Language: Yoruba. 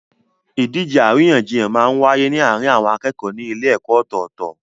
Ìdíje àríyànjiyàn máa n wáyé ní àárín àwọn akẹ́kọ̀ọ́ ní ilé ẹ̀kọ́ ọ̀tọ̀tọ̀